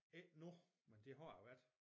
Ikke nu men det har det været